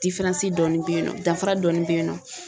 diferansi dɔɔnin be yen nɔ danfara dɔɔnin be yen nɔ